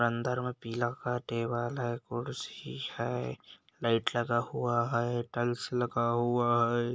अंदर में पीला का टेबल है कुर्सी है लाइट लगा हुआ है टाइल्स लगा हुआ है।